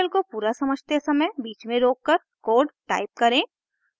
tutorial को पूरा समझते समय बीच में रोककर कोड टाइप करें